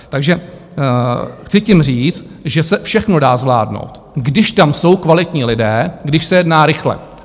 Takže chci tím říct, že se všechno dá zvládnout, když tam jsou kvalitní lidé, když se jedná rychle.